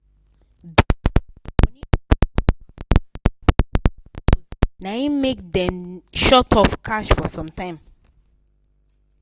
because the money no quick come out after account close na hin make dem short of cash for some time